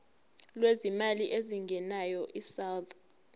lwezimali ezingenayo isouth